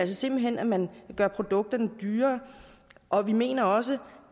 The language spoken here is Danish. simpelt hen at man gør produkterne dyrere og vi mener også